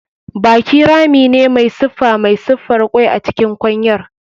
Baki rami ne mai siffa mai siffar kwai a cikin kwanyar.